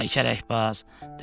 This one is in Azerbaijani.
Ay kərəkbaz!